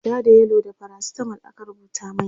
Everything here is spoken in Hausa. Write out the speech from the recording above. ja da yellow da faracitamol aka rubuta mani